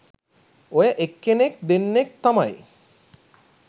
ඔය එක්කෙනෙක් දෙන්නෙක් තමයි